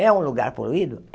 É um lugar poluído?